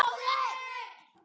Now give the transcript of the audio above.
Takk fyrir allt elsku besti.